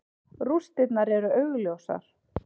Rústirnar eru augljósar.